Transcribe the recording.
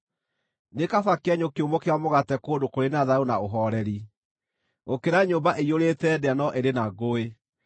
Nĩ kaba kĩenyũ kĩũmũ kĩa mũgate kũndũ kũrĩ na thayũ na ũhooreri, gũkĩra nyũmba ĩiyũrĩte ndĩa no ĩrĩ na ngũĩ.